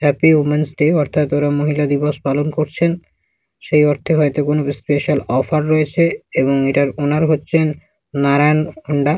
Happy women's day অর্থাৎ ওরা মহিলা দীবস পালন করছেন। সেই অর্থে হয়ত কোন স্পেসাল ওফার রয়েছে এবং এটার ওনার হচ্ছেন নারায়ন হোন্ডা ।